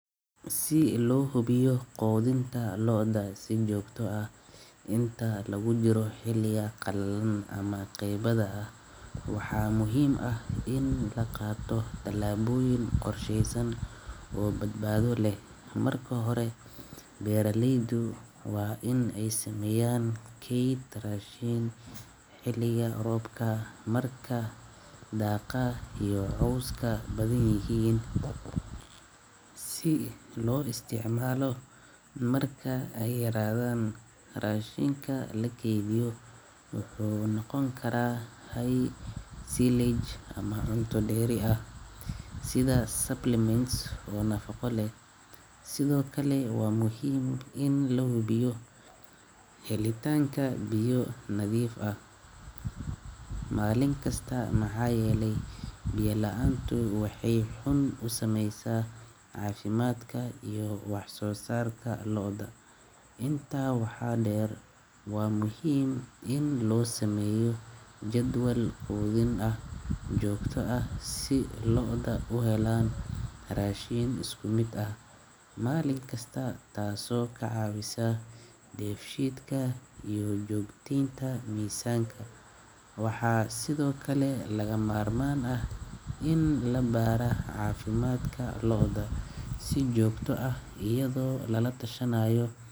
sii lohobiyo qodintoo si joogto ah intaa lagu jiro heliya qallin ama qeybada ah. Waxaa muhiim ah in la qaato talaabooyin qorsheysan oo badbaado leh. Marka hore, beeraleydu waa in ay sameeyaan kayd raashin heliya roobka markaa daaqaa iyo cawska badan yahiin. Si loo isticmaalo marka ay raadaan raashinka la keydiyo. Wuxuu noqon kara hay' silage ama cunto dheeri ah sida supplements oo nafaqo leh. Sidoo kale waa muhiim in la hubiyo helitaanka biyo nadiif ah. Maalin kasta maxaayeley. Biyela'aantu waxay xun u samaysaa caafimaadka iyo wax soo saarka looda. Intaa waxaa dheer, waa muhiim in loo sameeyo jadwal quudin ah joogto ah si looda u helaan raashin isku mid ah. Maalin kasta taasoo ka caawisahay def sheet-ka iyo joogtaynta miisaanka, waxaa sidoo kale laga maarmaan ah in la baar ah caafimaadka looda si joogto ah iyadoo lala tashanaayo.